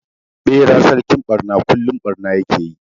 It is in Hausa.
Ɓera sarkin ɓarna kullum barna ya ke yi.